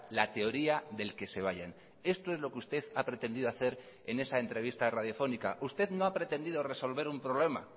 la teoría del que se vayan esto es lo que usted ha pretendido hacer en esa entrevista radiofónica usted no ha pretendido resolver un problema